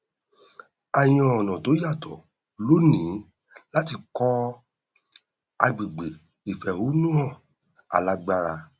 a yan ọnà tó yàtọ lónìí láti kọ agbègbè ìfẹhónúhàn alágbára